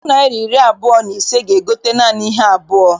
Puku naịra na iri abụọ na ise ga- egote naanị ihe abụọ.